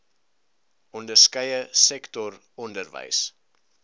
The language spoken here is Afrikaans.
onderskeie sektor onderwys